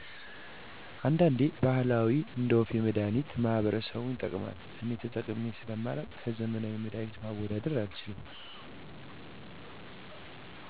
አንዳንድ ባህላዊ እንደወፌ መድሐኒት ማህበረሰቡ ይጠቀማል እኔ ተጠቅሜ ሰለማላቅ ከዘመናዊ መድሀኒት ማወዳደር አልችልም